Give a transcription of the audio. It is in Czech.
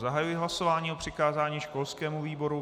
Zahajuji hlasování o přikázání školskému výboru.